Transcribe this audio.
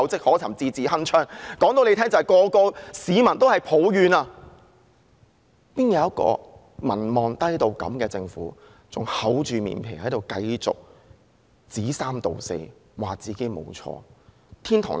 我告訴他們，現在所有市民也在抱怨怎會有一個民望如此低的政府還厚着面皮繼續說三道四，指自己沒有做錯。